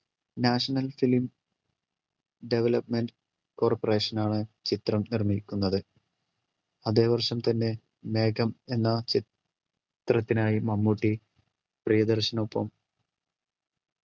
national film development coorperation ആണ് ചിത്രം നിർമിക്കുന്നത് അതെ വർഷം തന്നെ മേഘം എന്ന ചിത്രത്തിനായി മമ്മൂട്ടി പ്രിയദർശനൊപ്പം